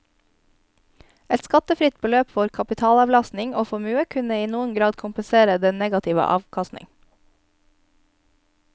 Et skattefritt beløp for kapitalavkastning og formue kunne i noen grad kompensere den negative avkastning.